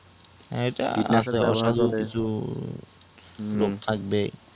ইটা সোল শুধু লোক থাকবে